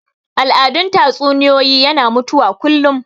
Al'adun tatsuniyoyi yana mutuwa kullum